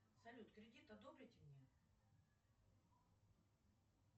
салют кредит одобрите мне